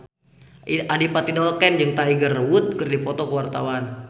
Adipati Dolken jeung Tiger Wood keur dipoto ku wartawan